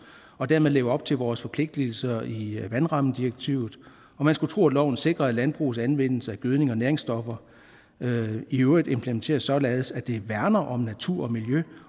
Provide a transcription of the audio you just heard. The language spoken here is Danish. og dermed lever op til vores forpligtelser i vandrammedirektivet og man skulle tro at loven sikrer at landbrugets anvendelse af gødning og næringsstoffer i øvrigt implementeres således at det værner om natur og miljø